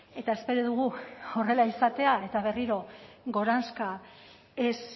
eta espero dugu horrela izatea eta berriro goranzka ez